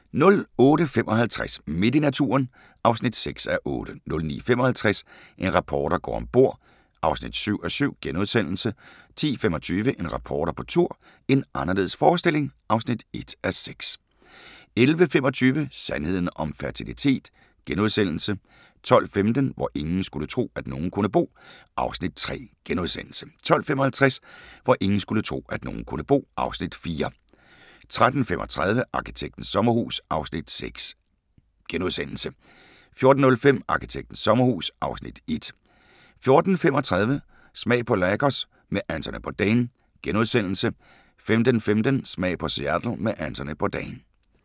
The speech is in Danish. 08:55: Midt i naturen (6:8) 09:55: En reporter går om bord (7:7)* 10:25: En reporter på tur - en anderledes forestilling (1:6) 11:25: Sandheden om fertilitet * 12:15: Hvor ingen skulle tro, at nogen kunne bo (Afs. 3)* 12:55: Hvor ingen skulle tro, at nogen kunne bo (Afs. 4) 13:35: Arkitektens sommerhus (Afs. 6)* 14:05: Arkitektens sommerhus (Afs. 1) 14:35: Smag på Lagos med Anthony Bourdain * 15:15: Smag på Seattle med Anthony Bourdain